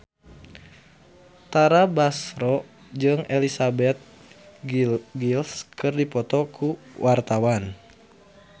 Tara Basro jeung Elizabeth Gillies keur dipoto ku wartawan